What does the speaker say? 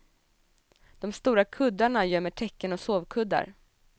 De stora kuddarna gömmer täcken och sovkuddar.